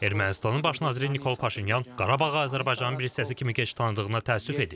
Ermənistanın baş naziri Nikol Paşinyan Qarabağı Azərbaycanın bir hissəsi kimi tanıdığına təəssüf edib.